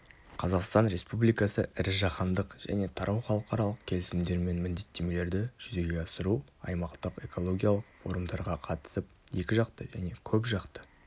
қазақстан республикасы ірі жаһандық және тарау халықаралық келісімдер мен міндеттемелерді жүзеге асыру аймақтық экологиялық форумдарға қатысып екіжақты және көпжақты